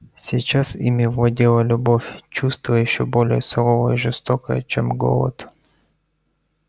сейчас ими владела любовь чувство ещё более суровое и жестокое чем голод